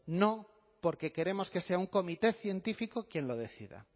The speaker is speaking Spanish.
no porque queremos que sea un comité científico quien lo decida